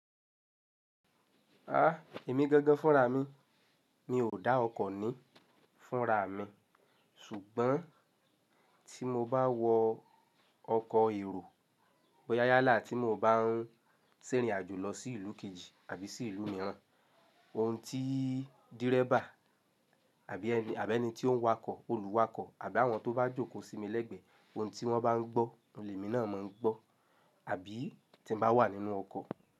Ah! Èmi gangan fúnra mi, mi ò dá ọkọ̀ ní fúnra mi ṣùgbọ́n tí mo bá wọ ọkọ̀ èrò bọ yá yálá tí mo bá ń ṣèrìn àjò lọ sí ìlú kejì àbí sí ìlú míràn, oun tí dírẹ́va àbí ẹni tí ó ń wakọ̀, olùwakọ̀ àbí àwọn tó bá jókòó sí mi lẹ́gbẹ̀ẹ́ oun tí wọ́n bá ń gbọ́, oun lè mi náà máa ń gbọ́. Àbí tí mo bá wà nínú ọkọ̀